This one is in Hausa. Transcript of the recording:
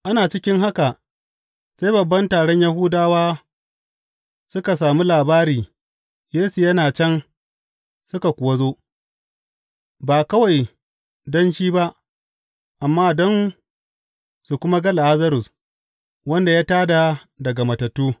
Ana cikin haka sai babban taron Yahudawa suka sami labari Yesu yana can suka kuwa zo, ba kawai don shi ba amma don su kuma ga Lazarus, wanda ya tā da daga matattu.